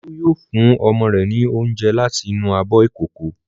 Olú yóò fún ọmọ rẹ̀ ní oúnjẹ láti inú abọ́ ìkókó.